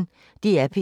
DR P1